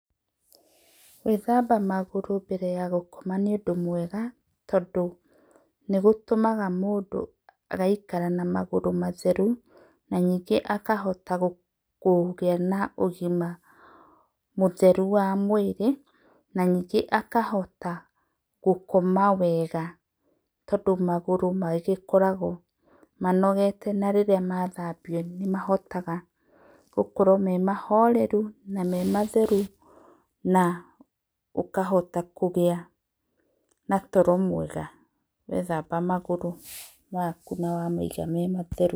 Gwĩthamba magũrũ mbere ya gũkoma nĩ ũndũ mwega, tondũ nĩ gũtũmaga mũndũ agaikara na magũrũ matherũ, na nĩngĩ agakĩhota kũgĩa na ũgĩma mũtherũ wa mwĩrĩ, na nĩnge akahota gũkoma wega, tondũ magũrũ magĩkoragwo manogete na rĩrĩa mathambĩo nĩ mahotaga gũkorwo me mahorerũ na me matherũ, na ũkahota kũgĩa na toro mwega, wethamba magũrũ makũ na wamaĩga me matherũ.